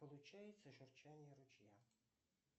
получается журчание ручья